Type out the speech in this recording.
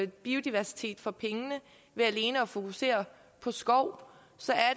biodiversitet for pengene ved alene at fokusere på skov